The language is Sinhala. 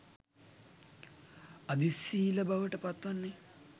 අධිසීල බවට පත්වන්නේ